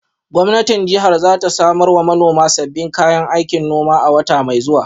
Gwamnatin jihar za ta samar wa manoman sabbin kayan aikin noma a wata mai zuwa.